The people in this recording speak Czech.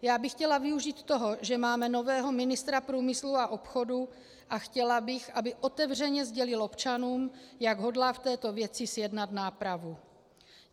Já bych chtěla využít toho, že máme nového ministra průmyslu a obchodu, a chtěla bych, aby otevřeně sdělil občanům, jak hodlá v této věci zjednat nápravu.